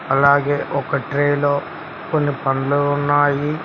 అలాగే ఒక ట్రేలో కొన్ని పండ్లు ఉన్నాయి.